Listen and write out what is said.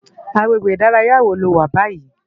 Agbégbé idàráyá wó ló wá bàyí?